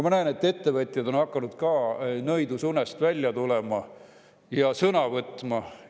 Ma näen, et ka ettevõtjad on hakanud nõidusunest välja tulema ja sõna võtma.